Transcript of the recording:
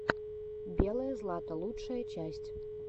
белое злато лучшая часть